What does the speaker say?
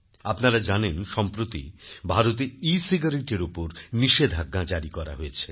আপনারা জানেন সম্প্রতি ভারতেecigaretteএর উপর নিষেধাজ্ঞা জারী করা হয়েছে